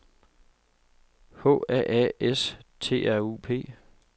H A A S T R U P